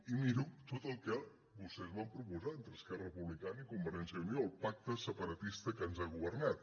i miro tot el que vostès van proposar entre esquerra republicana i convergència i unió el pacte separatista que ens ha governat